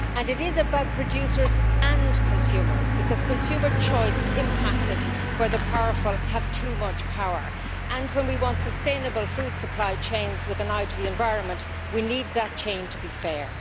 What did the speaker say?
It is about producers and consumers, because consumer choice is impacted where the powerful have too much power, and when we want sustainable food supply chains, with an eye to the environment, we need those chains to be fair.